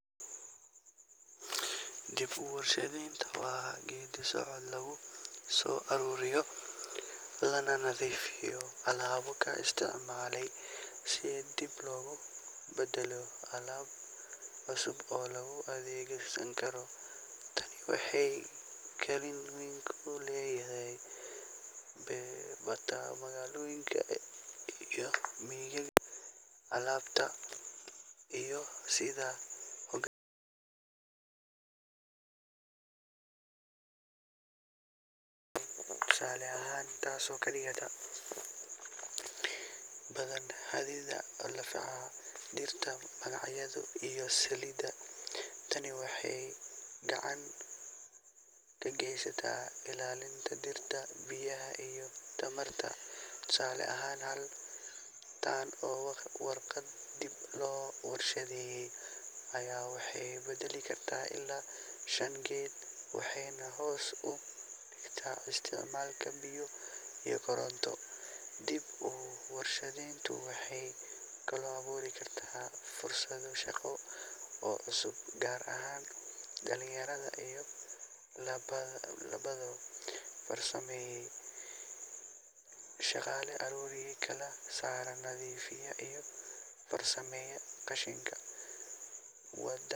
Wayo-aragnimo waa aqoon iyo faham qofku kasbado kadib markuu waqti dheer ku qaato shaqo, nolol, ama xaalado kala duwan. Waa mid aan lagu helin buug ama fasal kaliya, balse lagu kasbado waayo iyo dhacdooyin nololeed oo la kulmo. Qofka leh waayo-aragnimo badan wuxuu si fiican u fahmaa sida loola tacaalo xaaladaha adag, wuxuuna leeyahay awood uu go'aan sax ah ku gaari karo xilli adag. Tusaale ahaan, qof shaqo ku jiray muddo ka badan toban sano ayaa la filayaa inuu ka waayo-arag badan yahay qof hadda bilaabay isla shaqadaas, xitaa haddii uu ka aqoon badan yahay dhinaca theory. Waayo-aragnimadu waxay muhiim u tahay dhammaan noocyada shaqooyinka, ha ahaato farsamada gacanta, hoggaaminta, xisaabaadka, ama waxbarashada. Sidoo kale, qofka leh waayo-aragnimo wuxuu dadka kale siiya tusaale iyo la-talin, taasoo ka caawisa in